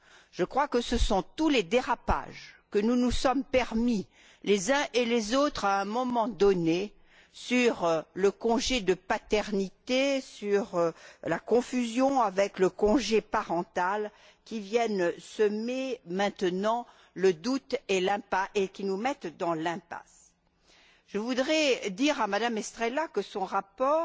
Je crois que ce sont tous les dérapages que nous nous sommes permis les uns et les autres, à un moment donné, sur le congé de paternité, sur la confusion avec le congé parental, qui viennent maintenant semer le doute et qui nous mettent dans l'impasse. Je voudrais dire à Mme Estrela que son rapport